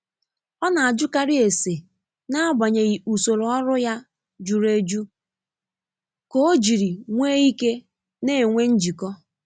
Ọ n'ajụkarị ese n’agbanyeghị usoro ọrụ ya juru eju k'ojiri nw'ike n'enwe njikọ.